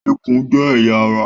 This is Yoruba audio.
Ikùn jẹ́ ẹ̀yà ará